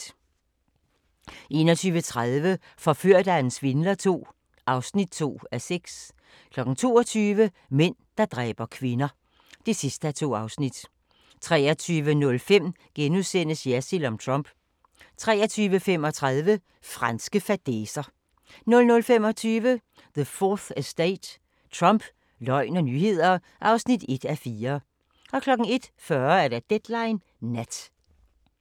21:30: Forført af en svindler II (2:6) 22:00: Mænd, der dræber kvinder (2:2) 23:05: Jersild om Trump * 23:35: Franske fadæser 00:25: The 4th Estate – Trump, løgn og nyheder (1:4) 01:40: Deadline Nat